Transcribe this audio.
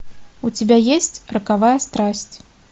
у тебя есть роковая страсть